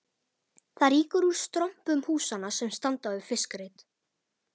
Það rýkur úr strompum húsanna sem standa við fiskreit